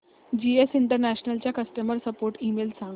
GS International चा customer support email सांग